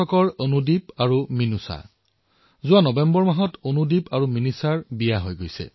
অনুদীপ আৰু মীনুষাই যোৱা নৱেম্বৰ মাহত বিবাহত আৱদ্ধ হৈছে